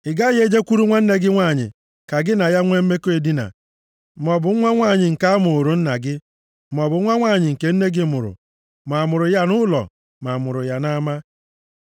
“ ‘Ị gaghị e jekwuru nwanne gị nwanyị ka gị na ya nwe mmekọ edina, maọbụ nwa nwanyị nke a mụụrụ nna gị, maọbụ nwa nwanyị nke nne gị mụrụ, ma a mụrụ ya nʼụlọ ma a mụrụ nʼama.